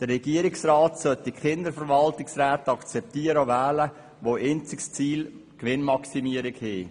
Der Regierungsrat hätte keine Verwaltungsräte akzeptieren und wählen dürfen, deren einziges Ziel die Gewinnmaximierung ist.